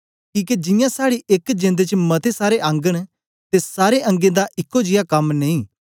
किके जियां साड़ी एक जेंद च मते सारे अंग न ते सारे अंगें दा एको जियां कम नेई